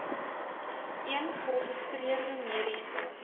een geregistreerde mediese